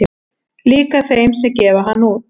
Líka þeim sem gefa hann út